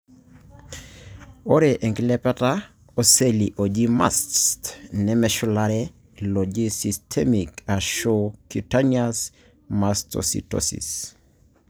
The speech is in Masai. Ore enkilepata oseli oji mast nemeshulare iloji systemic ashu cutaneous mastocytosis.